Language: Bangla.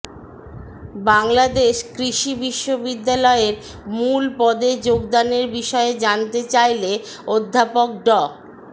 বাংলাদেশ কৃষি বিশ্ববিদ্যালয়ের মূল পদে যোগদানের বিষয়ে জানতে চাইলে অধ্যাপক ড